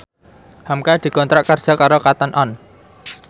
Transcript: hamka dikontrak kerja karo Cotton On